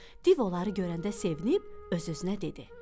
Div onları görəndə sevib öz-özünə dedi.